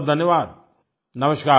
बहुतबहुत धन्यवाद